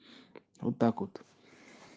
вот так вот